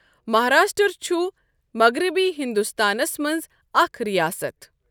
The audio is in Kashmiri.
مَہاراشٹٛر چھُ مَغرَبی ہِنٛدوستانَس مَنٛز اَکھ رِیاسَتھ ۔